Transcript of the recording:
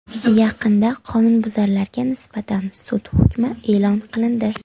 Yaqinda qonunbuzarlarga nisbatan sud hukmi e’lon qilindi.